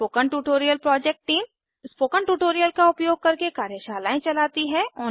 spoken tutorial project टीम160 spoken tutorial का उपयोग करके कार्यशालाएं चलती है